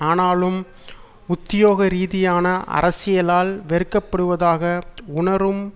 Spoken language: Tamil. ஆனால் உத்தியோகரீதியான அரசியலால் வெறுக்கப்படுவதாக உணரும்